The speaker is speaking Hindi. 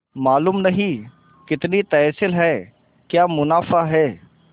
मालूम नहीं कितनी तहसील है क्या मुनाफा है